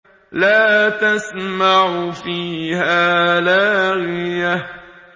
لَّا تَسْمَعُ فِيهَا لَاغِيَةً